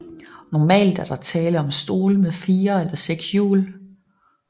Normalt er der tale om stole med 4 til 6 hjul